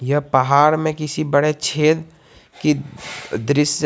यह पहाड़ में किसी बड़े छेद की दृश्य--